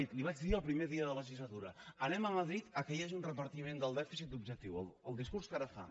li ho vaig dir el primer dia de legislatura anem a madrid que hi hagi un repartiment del dèficit objectiu el discurs que ara fa